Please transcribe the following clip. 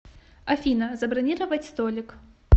афина забронировать столик